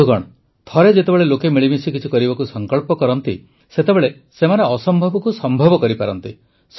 ବନ୍ଧୁଗଣ ଥରେ ଯେତେବେଳେ ଲୋକେ ମିଳିମିଶି କିଛି କରିବାକୁ ସଂକଳ୍ପ କରନ୍ତି ସେତେବେଳେ ସେମାନେ ଅସମ୍ଭବକୁ ସମ୍ଭବ କରିପାରନ୍ତି